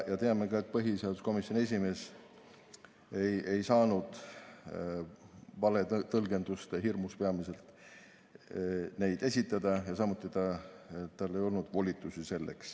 Teame, et põhiseaduskomisjoni esimees ei saanud peamiselt valetõlgenduste hirmus neid esitada ja samuti ei olnud tal selleks volitusi.